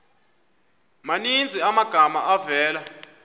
maninzi amagama avela